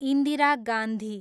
Indira Gandhi